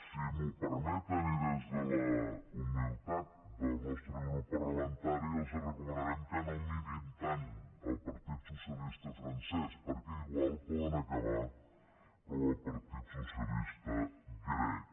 si m’ho permeten i des de la humilitat del nostre grup parlamentari els recomanarem que no mirin tant el partit socialista francès perquè igual poden acabar com el partit socialista grec